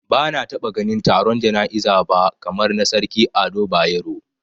Bana taba ganin taron jana'iza ba kamar na Sarki Ado Bayero